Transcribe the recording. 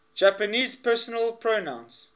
japanese personal pronouns